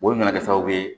Olu nana kɛ sababu ye